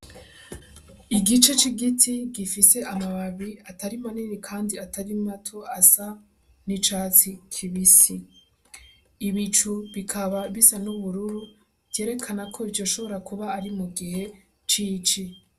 Igice c'igiti gifise amababi atari manini kandi atari mato asa n'icatsi kibisi, ibicu bikaba bisa n'ubururu vyerekana ko vyoshobora kuba ari mu gihe c'ici.